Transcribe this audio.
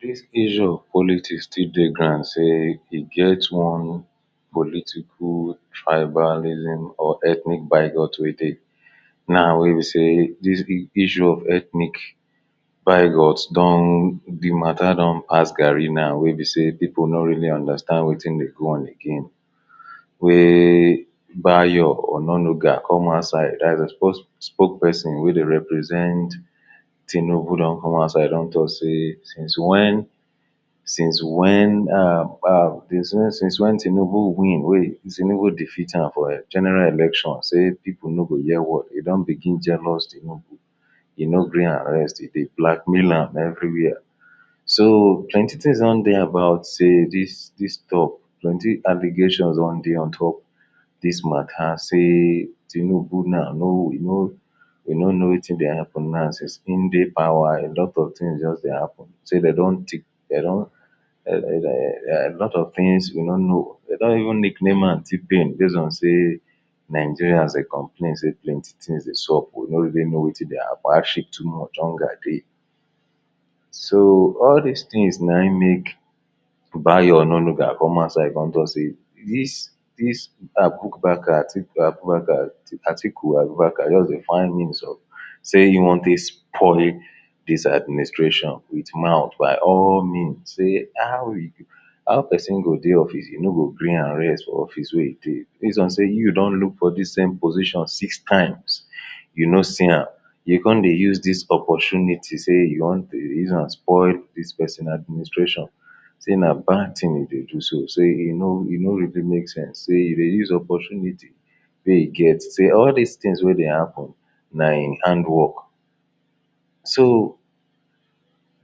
dis issue of politics still dey grand sey e get one political tribalism or ethnic bigorithm na wey be sey the issue of ethnic bigoth don, the matter don pass gari now wey be sey people no really understand wetin dey go on again wey Bayo Ononuga come outside, the spoke, spoke person wey dey represent Tinubu don come aside don talk sey since when since when um, dem say since when Tinubu win wey Tinubu defit tam for general election sey people no go hear word e don begin jealous Tinubu e no gree am rest e dey blackmail am everywhere so plenty things don dey about sey dis dis talk plenty allegation don dey on top dis matter sey tinubu now, no, he no he no know no know wetin dey happen now since e dey power alot of things just dey happen sey de don tik de don um lot of things we no know de don even nike neman T-pain base on sey Nigeria de complain sey plenty things dey sub we know even know wetin dey happen hardship too much, hunger dey so all dis thing nayin make bayo ononuga come outside come talk sey dis dis Abubakar Abubakar Atiku Abubakar just sey find means o sey e wan dey spoil dis administration wit mouth by all means sey how how person go dey office e no go gre am rest for office wey e de base on sey you don look for the same position six times you no see yam you come dey use dis opportunity sey you wan uzam spoil dis person administration sey na bad thing you de do so sey you no you no even make sense sey you dey use opportunity wey you get sey all dis things wey dey happen nayin handwork so